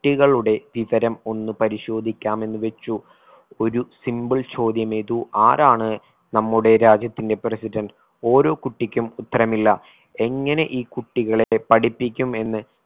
കുട്ടികളുടെ വിവരം ഒന്ന് പരിശോധിക്കാം എന്നുവെച്ചു ഒരു simple ചോദ്യമിതു ആരാണ് നമ്മുടെ രാജ്യത്തിന്റെ president ഓരോ കുട്ടിക്കും ഉത്തരമില്ല എങ്ങനെ ഈ കുട്ടികളെ പഠിപ്പിക്കും എന്ന്